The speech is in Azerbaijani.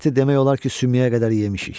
Əti demək olar ki, sümüyə qədər yemişik.